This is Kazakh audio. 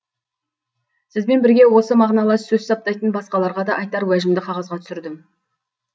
сізбен бірге осы мағыналас сөз саптайтын басқаларға да айтар уәжімді қағазға түсірдім